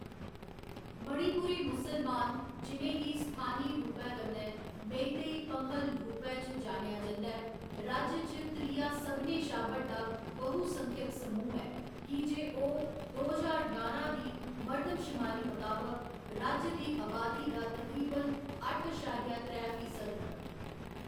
मणिपुरी मुसलमान, जि'नें गी स्थानी रूपै कन्नै मेईतेई पंगहल रूपै च जानेआ जंदा ऐ, राज्य च त्रिया सभनें शा बड्डा बहुसंख्यक समूह् ऐ की जे ओह्‌‌ दो ज्हार ञारां दी मर्दमशमारी मताबक राज्य दी अबादी दा तकरीबन अट्ठ अशारिया त्रै फीसद न।